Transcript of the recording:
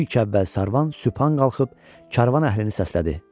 İlk əvvəl Sarvan Süphan qalxıb karvan əhlini səslədi.